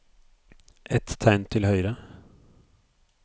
Ett tegn til høyre